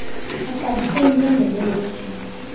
baxabise impembelelo yotshintsho